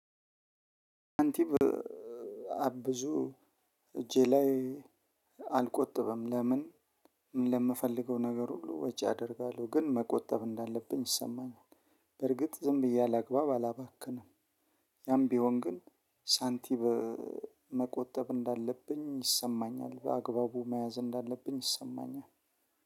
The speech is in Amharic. አንቲብ አብዙ እጄ ላይ አልቆጥብም። ለምን ለምፈልገው ነገር ሁሉ ወጪ አደርጋለሁ። ግን መቆጠብ እንዳለብኝ ይሰማኛል። በርግጥ ዝም ብዬ አላግባብ አላባክንም። ያም ቢሆን ግን ሳንቲም መቆጠብ እንዳለብኝ ይሰማኛል። በአግባቡ መያዝ እንዳለብኝ ይሰማኛል።